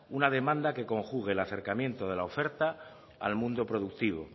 una demanda que conjugue el acercamiento de la oferta al mundo productivo